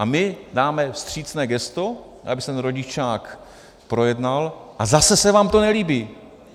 A my dáme vstřícné gesto, aby se ten rodičák projednal, a zase se vám to nelíbí.